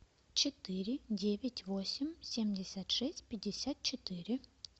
четыре девять восемь семьдесят шесть пятьдесят четыре